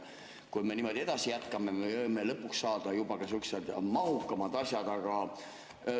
Kui me niimoodi jätkame, siis me võime lõpuks saada juba suhteliselt mahukamad asjad ka.